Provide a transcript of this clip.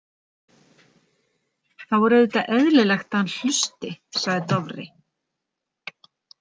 Þá er auðvitað eðlilegt að hann hlusti, sagði Dofri.